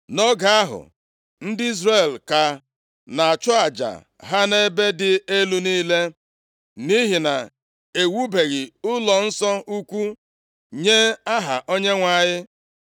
Nʼoge ahụ, ndị Izrel ka na-achụ aja ha nʼebe dị elu niile, nʼihi na ewubeghị ụlọnsọ ukwu nye aha Onyenwe anyị.